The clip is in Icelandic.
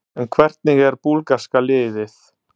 En hvernig er búlgarska liðið?